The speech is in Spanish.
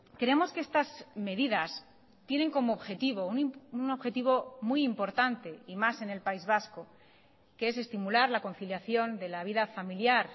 creemos que estas medidas tienen como objetivo un objetivo muy importante y más en el país vasco que es estimular la conciliación de la vida familiar